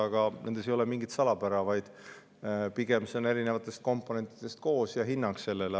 Aga nendes ei ole mingit salapära, vaid pigem need erinevatest komponentidest ja on hinnang sellele.